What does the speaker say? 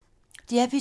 DR P2